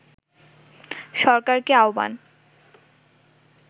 সরকারকে আহ্বান